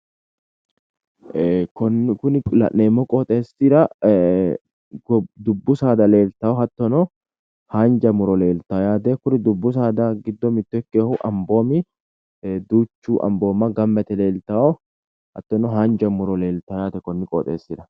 Ee kuni la'neemmo qoxeessira dubbu saada leeltawo hattono haanja muro leeltawo yaate kuni dubbu saada giddo mitto ikkinohu amboomi duuchu amboomma gamba yite leeltawo hattono haanja muro leeltawo yaatekonni qoxeessira